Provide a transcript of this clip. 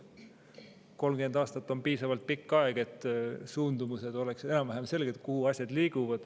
30 aastat on piisavalt pikk aeg, et suundumused, kuhu asjad liiguvad, oleksid enam-vähem selged.